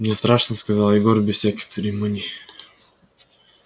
мне страшно сказал егор без всяких церемоний